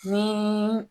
Ni